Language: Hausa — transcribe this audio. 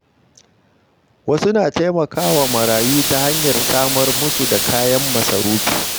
Wasu na taimaka wa marayu ta hanyar samar musu da kayan masarufi.